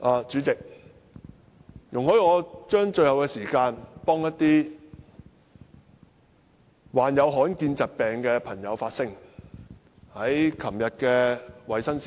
主席，容許我將最後的發言時間，替一些患有罕見疾病的朋友發聲。